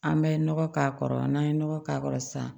An bɛ nɔgɔ k'a kɔrɔ n'an ye nɔgɔ k'a kɔrɔ sisan